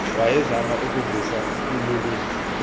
wayezama ukuvusa ululun